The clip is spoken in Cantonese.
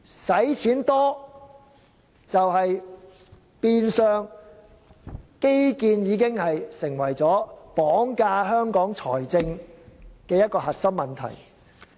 基建耗資龐大，變相成為綁架香港財政的核心問題。